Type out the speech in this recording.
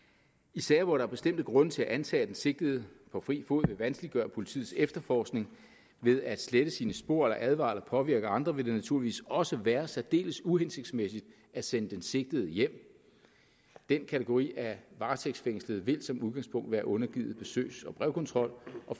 i sager hvor der er bestemte grunde til at antage at den sigtede på fri fod vil vanskeliggøre politiets efterforskning ved at slette sine spor eller advare eller påvirke andre vil det naturligvis også være særdeles uhensigtsmæssigt at sende den sigtede hjem den kategori af varetægtsfængslede vil som udgangspunkt være undergivet besøgs og brevkontrol og